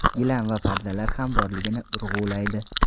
gilam va pardalar ham borligini urg‘ulaydi.